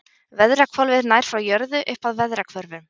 Veðrahvolfið nær frá jörð upp að veðrahvörfum.